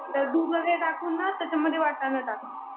तर दूध वगैरे टाकून ना त्याच्यात वाटाणा टाक मग.